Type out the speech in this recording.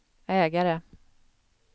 ägare